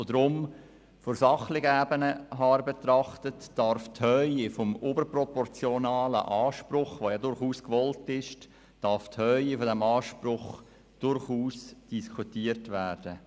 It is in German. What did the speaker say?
Deshalb von der sachlichen Ebene her betrachtet, darf die Höhe des überproportionalen Anspruchs, der ja gewollt ist, durchaus diskutiert werden.